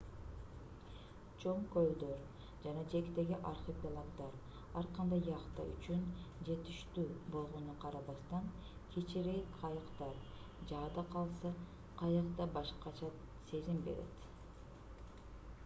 чоң көлдөр жана жээктеги архипелагдар ар кандай яхта үчүн жетиштүү болгонуна карабастан кичирээк кайыктар жада калса каяк да башкача сезим берет